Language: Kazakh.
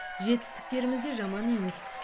жетістіктеріміз де жаман емес